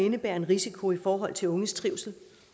indebærer en risiko i forhold til de unges trivsel